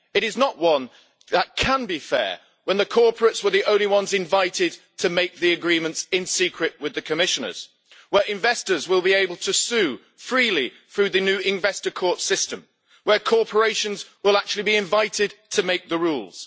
It is not one that can be fair when the corporates were the only ones invited to make agreements in secret with the Commissioners, when investors will be able to sue freely through the new Investor Court system, and when corporations will actually be invited to make the rules.